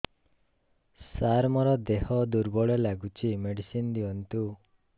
ସାର ମୋର ଦେହ ଦୁର୍ବଳ ଲାଗୁଚି ମେଡିସିନ ଦିଅନ୍ତୁ